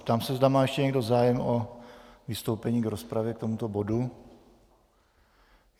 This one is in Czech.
Ptám se, zda má ještě někdo zájem o vystoupení v rozpravě k tomuto bodu.